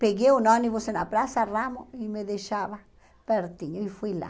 Peguei um ônibus na Praça Ramos e me deixava pertinho e fui lá.